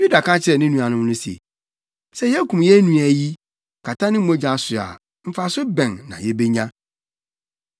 Yuda ka kyerɛɛ ne nuanom no se, “Sɛ yekum yɛn nua yi, kata ne mogya so a, mfaso bɛn na yebenya?